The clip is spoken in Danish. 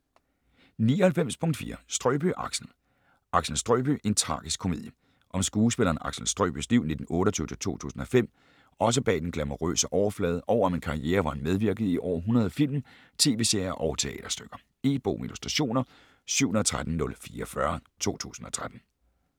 99.4 Strøbye, Axel Axel Strøbye: en tragisk komedie Om skuespilleren Axel Strøbyes liv (1928-2005) også bag den glamourøse overflade og om en karriere hvor han medvirkede i over 100 film, tv-serier og teaterstykker. E-bog med illustrationer 713044 2013.